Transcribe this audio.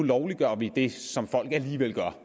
lovliggør det som folk alligevel gør